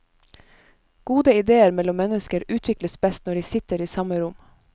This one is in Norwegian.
Gode idéer mellom mennesker utvikles best når de sitter i samme rom.